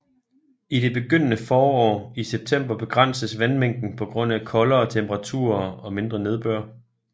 I det begyndende forår i september begrænses vandmængden på grund af koldere temperaturer og mindre nedbør